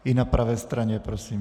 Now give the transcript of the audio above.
I na pravé straně prosím.